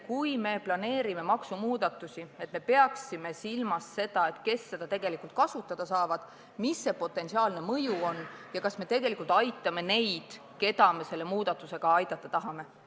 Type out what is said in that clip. Kui me planeerime maksumuudatusi, siis me peaksime silmas pidama, kes seda soodustust tegelikult kasutada saavad, mis see potentsiaalne mõju on ja kas me tegelikult aitame neid, keda me selle muudatusega aidata tahame.